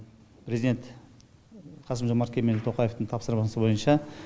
президент қасым жомарт кемел ұлы тоқаевтың тапсырмасы бойынша